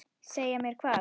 Segja mér hvað?